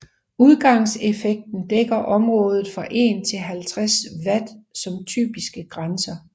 Udgangseffekten dækker området fra 1 til 50 W som typiske grænser